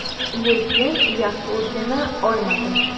Lekin yaxshi o‘rgana olmadim.